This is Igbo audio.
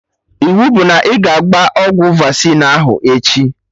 Iwu bụ na ị ga-agba ọgwụ vaccine ahụ echi!